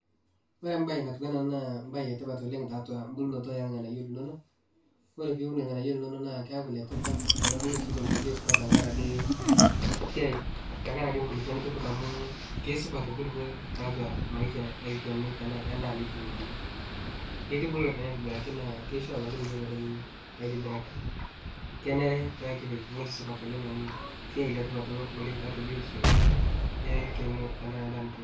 Ore embaye natiu ena naa embaye etipat oleng' tiatua embulunoto orng'anayio linono ore pee iun irng'anayio linonok naa keeku ile tipat tenebulu sii tenkoitoi supat tenkaraki nkulukuon nitipika amu kesupat nkulukuon tiatua maisha endaa nituuno amu kitubulu naa aitobiraki naa kisho abaiki metubulu aitobiraki kenare pee kipik ewueji supat oleng amu esiai letipat ilo oleng' tiatua biotisho olchani enaa endaa nituuno.